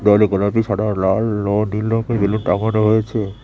বেলুনগুলো কি সাডা লাল ও ডীল রঙ দিয়ে রয়েছে।